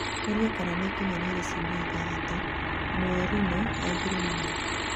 Oria kana nĩikinyanĩire ciumia ithatũ Mourinho oigire "nĩ ma"